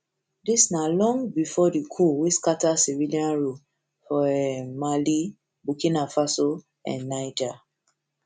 dis na long bifor di coups wey scata civilian rule for um mali burkina faso and faso and niger